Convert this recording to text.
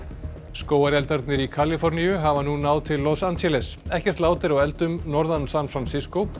skógareldarnir í Kaliforníu hafa nú náð til Los Angeles ekkert lát er á eldum norðan San